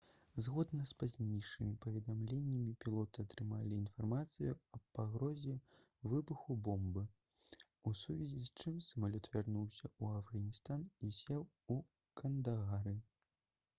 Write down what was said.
згодна з пазнейшымі паведамленнямі пілоты атрымалі інфармацыю аб пагрозе выбуху бомбы у сувязі с чым самалёт вярнуўся ў афганістан і сеў у кандагары